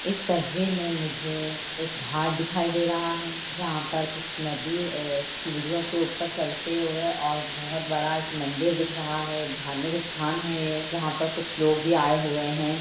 इस तस्वीर मे मुझे एक घाट दिखाई दे रहा है जहाँ पर कुछ नदी ए सीढ़ियो के ऊपर चलते हुए और बहोत बड़ा मंदिर दिख रहा धार्मिक स्थान हैं ये जहाँ पर कुछ लोग भी आए हुए है।